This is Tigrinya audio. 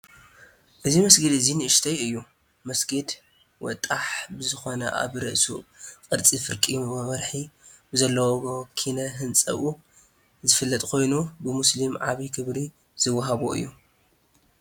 እዚ መስጊድ ኣዝያ ንኡሽተይ እያ፡፡ መስጊድ ወጣሕ ብዝኾነ ኣብ ርእሱ ቅርፂ ፍርቂ ወርሒ ብዘለዎ ኪነ ህንፅኡ ዝፍለጥ ኮይኑ ብሞስሊም ዓብዪ ክብሪ ዝወሃቦ እዩ፡፡